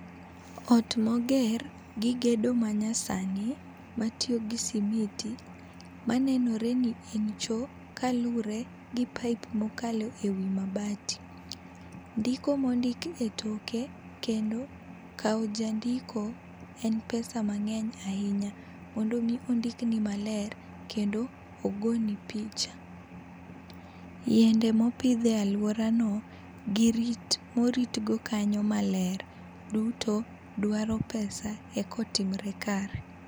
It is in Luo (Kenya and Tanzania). Ot ma oger gi gedo manyasani ma tiyo gi simiti, ma nenore ni en choo kalure gi pipe mo okalo e wi mabati, ndiko ma ondik etoke kendo kawo jandiko en pesa mang'eny ahinya mondo mi ondikni maler kendo ogo ni picha. Yiende mo opidh e aluorano gi rit ma orit go kanyo maber duto dwaro pesa mondo ka otimre maber.